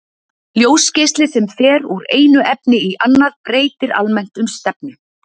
ljósgeisli sem fer úr einu efni í annað breytir almennt um stefnu